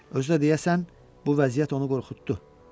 Özü də deyəsən bu vəziyyət onu qorxutdu.